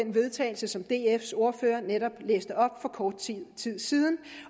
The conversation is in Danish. vedtagelse som dfs ordfører læste op for kort tid siden